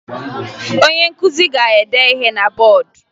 Onye nkụzi ga-ede ihe na bọọdụ